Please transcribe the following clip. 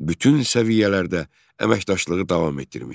bütün səviyyələrdə əməkdaşlığı davam etdirmişdi.